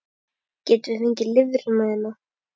Getum við fengið lifrina þína?